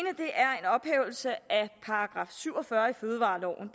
ophævelse af § syv og fyrre i fødevareloven